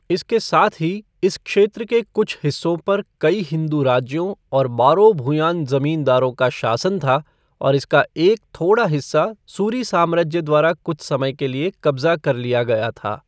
इसके साथ ही, इस क्षेत्र के कुछ हिस्सों पर कई हिंदू राज्यों और बारो भुयान जमींदारों का शासन था, और इसका एक थोड़ा हिस्सा सूरी साम्राज्य द्वारा कुछ समय के लिए कब्जा कर लिया गया था।